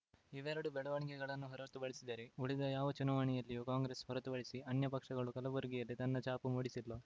ಇವೆರಡು ಬೆಳವಣಿಗೆಗಳನ್ನು ಹೊರತುಪಡಿಸಿದರೆ ಉಳಿದ ಯಾವ ಚುನಾವಣೆಯಲ್ಲಿಯೂ ಕಾಂಗ್ರೆಸ್‌ ಹೊರತುಪಡಿಸಿ ಅನ್ಯ ಪಕ್ಷ ಕಲಬುರಗಿಯಲ್ಲಿ ತನ್ನ ಛಾಪು ಮೂಡಿಸಿಲ್ಲ